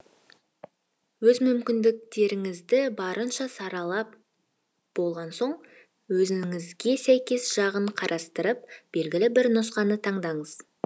өз мүмкіндіктеріңізді барынша саралап болған соң өзіңізге сәйкес жағын қарастырып белгілі бір нұсқаны таңдаңыз